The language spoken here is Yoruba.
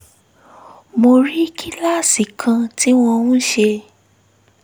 mo rí kíláàsì kan tí wọ́n ń ṣe